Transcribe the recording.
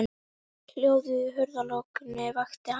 Hljóðið í hurðarlokunni vakti hann.